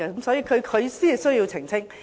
所以，他才需要澄清。